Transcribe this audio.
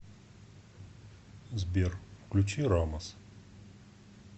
сбер включи рамас